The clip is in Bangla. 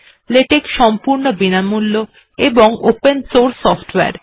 লেটেক্ সম্পূর্ণ বিনামূল্য এবং ওপেন সোর্স software